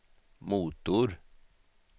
motor